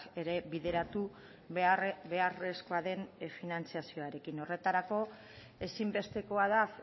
ere bideratu beharrezkoa den finantzazioarekin horretarako ezinbestekoa da